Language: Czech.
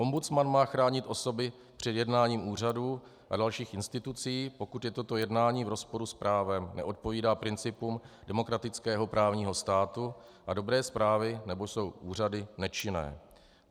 Ombudsman má chránit osoby před jednáním úřadů a dalších institucí, pokud je toto jednání v rozporu s právem, neodpovídá principům demokratického právního státu a dobré správy, neboť jsou úřady nečinné.